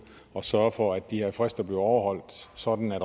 at sørge for at de her frister bliver overholdt sådan